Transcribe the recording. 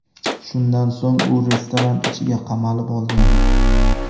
Shundan so‘ng u restoran ichiga qamalib olgan.